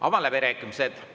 Avan läbirääkimised.